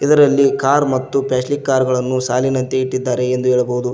ಇದರಲ್ಲಿ ಕಾರ್ ಮತ್ತು ಪ್ಯಾಸ್ಲಿಕ್ ಕಾರ್ ಗಳನ್ನು ಸಾಲಿನಂತೆ ಇಟ್ಟಿದ್ದಾರೆ ಎಂದು ಹೇಳಬಹುದು.